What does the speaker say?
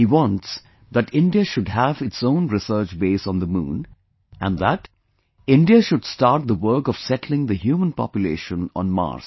He wants that India should have its own research base on the Moon, and that India should start the work of settling the human population on Mars